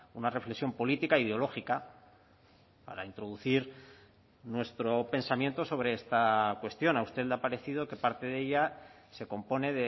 una reflexión política ideológica para introducir nuestro pensamiento sobre esta cuestión a usted le ha parecido que parte de ella se compone